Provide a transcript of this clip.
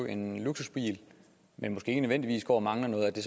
en luksusbil men måske ikke nødvendigvis går og mangler noget er det